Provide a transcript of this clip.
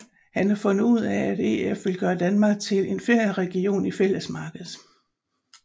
Han har fundet ud af at EF vil gøre Danmark til en ferieregion i Fællesmarkedet